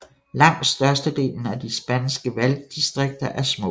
Langt størstedelen af de spanske valgdistriker er små